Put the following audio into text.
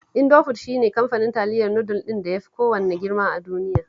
Indofood shi ne kamfanin taliyar nudul ɗin da ya fi kowanne girma a duniya